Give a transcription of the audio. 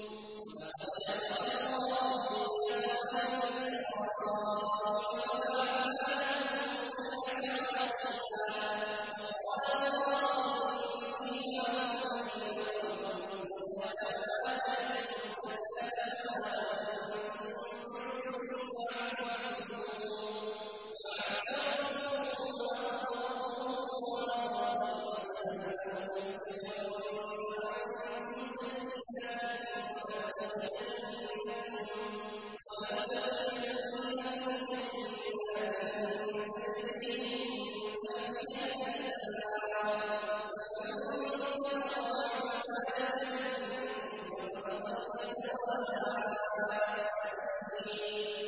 ۞ وَلَقَدْ أَخَذَ اللَّهُ مِيثَاقَ بَنِي إِسْرَائِيلَ وَبَعَثْنَا مِنْهُمُ اثْنَيْ عَشَرَ نَقِيبًا ۖ وَقَالَ اللَّهُ إِنِّي مَعَكُمْ ۖ لَئِنْ أَقَمْتُمُ الصَّلَاةَ وَآتَيْتُمُ الزَّكَاةَ وَآمَنتُم بِرُسُلِي وَعَزَّرْتُمُوهُمْ وَأَقْرَضْتُمُ اللَّهَ قَرْضًا حَسَنًا لَّأُكَفِّرَنَّ عَنكُمْ سَيِّئَاتِكُمْ وَلَأُدْخِلَنَّكُمْ جَنَّاتٍ تَجْرِي مِن تَحْتِهَا الْأَنْهَارُ ۚ فَمَن كَفَرَ بَعْدَ ذَٰلِكَ مِنكُمْ فَقَدْ ضَلَّ سَوَاءَ السَّبِيلِ